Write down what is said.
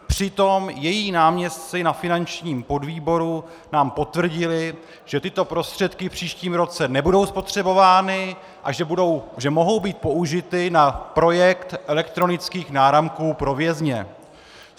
Přitom její náměstci na finančním podvýboru nám potvrdili, že tyto prostředky v příštím roce nebudou spotřebovány a že mohou být použity na projekt elektronických náramků pro vězně.